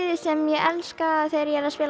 sem ég elska þegar ég spila á